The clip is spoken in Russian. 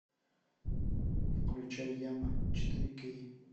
включай яма четыре кей